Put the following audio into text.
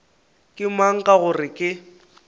ke mang ka gore ke